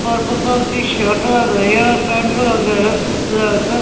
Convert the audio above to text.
purple colour की shirt लगाई है और पैंट लगा है ब्लैक अ --